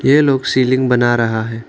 ये लोग सीलिंग बना रहा है।